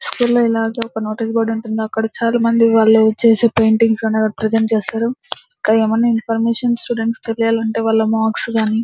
స్కూల్లో ఇలాగె notice board ఉంటుంది. అక్కడ చాల మంది వాళ్ళు చేసే పెయింటింగ్స్ ప్రెసెంట్ చేసారు ఏమైనా స్టూడెంట్స్ కి ఇన్ఫర్మేషన్ తెలియాలంటే వాళ్ళ మార్క్స్ కానీ --